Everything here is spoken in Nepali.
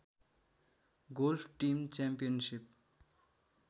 golf team championship